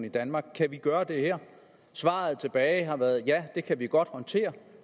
i danmark kan vi gøre det her svaret tilbage har været at ja det kan vi godt håndtere